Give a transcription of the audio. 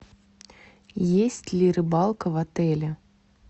есть ли рыбалка в отеле